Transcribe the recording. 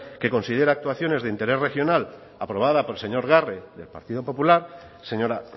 que considera actuaciones de interés regional aprobada por el señor garre del partido popular señora